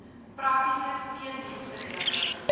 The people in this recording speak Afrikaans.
praktiese steundienste lewer